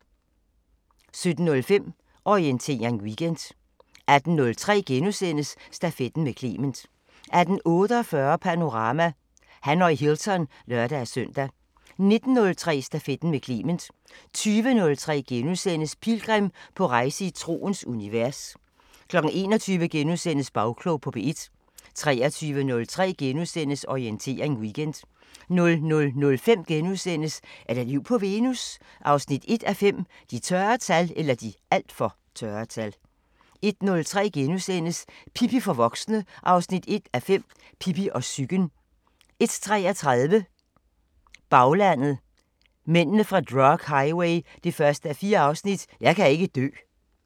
17:05: Orientering Weekend 18:03: Stafetten med Clement * 18:48: Panorama: Hanoi Hilton (lør-søn) 19:03: Stafetten med Clement 20:03: Pilgrim – på rejse i troens univers * 21:03: Bagklog på P1 * 23:03: Orientering Weekend * 00:05: Er der liv på Venus? 1:5 – De (alt for) tørre tal * 01:03: Pippi for voksne 1:5 – Pippi og psyken * 01:33: Baglandet: Mændene fra drug highway 1:4 – "Jeg kan ikke dø"